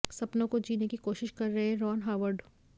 सपनों को जीने की कोशिश कर रहे हैं रॉन हॉवर्ड